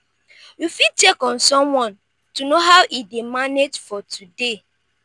you fit check on someone to know how e dey manage for today.